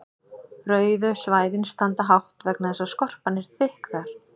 rauðu svæðin standa hátt vegna þess að skorpan er þykk þar